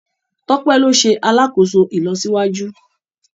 Tope ló ṣe alàkóso ìlọsíwájú